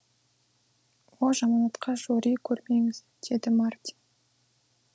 о жаманатқа жори көрмеңіз деді мартин